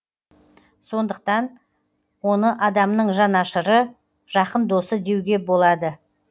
сондықтан оны адамның жанашыры жақын досы деуге болады